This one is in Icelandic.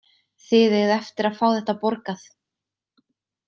Þið eigið eftir að fá þetta borgað!